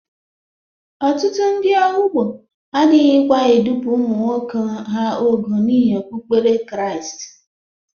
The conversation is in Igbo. Ọtụtụ ndị Ehụgbọ adịghịkwa edupu ụmụ nwoke ha ogo n'ihi okpukpere Kraịst.